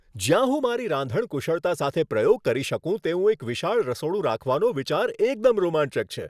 જ્યાં હું મારી રાંધણ કુશળતા સાથે પ્રયોગ કરી શકું તેવું એક વિશાળ રસોડું રાખવાનો વિચાર એકદમ રોમાંચક છે.